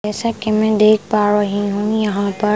जैसा कि मैं देख पा रही हूँ यहाँ पर --